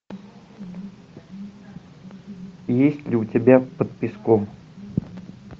есть ли у тебя под песком